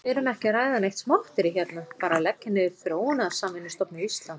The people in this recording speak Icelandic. Við erum ekki að ræða neitt smotterí hérna, bara að leggja niður Þróunarsamvinnustofnun Íslands.